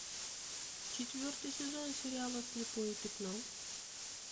четвертый сезон сериала слепое пятно